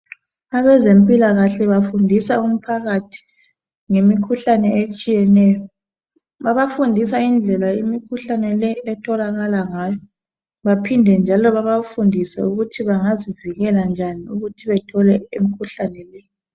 Abezempilakahle bafundisa umphakathi, ngemikhuhlane etshiyeneyo. Babafundisa indlela imikhuhlane le etholakala ngayo. Baphinde njalo, babafundise ukuthi bangazivikela njani ukuthi bangatholi imikhuhlane le.